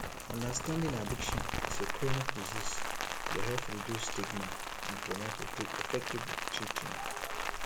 understanding addiction as a chronic disease dey help reduce stigma and promote effective treatment